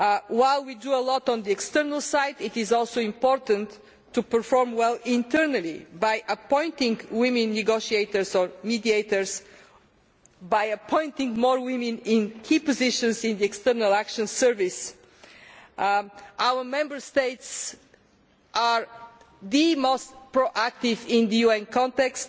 While we do a lot on the external side, it is also important to perform well internally by appointing women negotiators or mediators. By appointing more women in key positions in the European External Action Service, our Member States are the most proactive in the UN context.